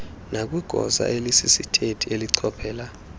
nakwigosa elisisithethi elichophela